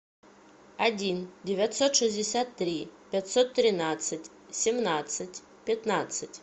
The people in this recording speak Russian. один девятьсот шестьдесят три пятьсот тринадцать семнадцать пятнадцать